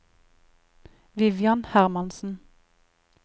Vivian Hermansen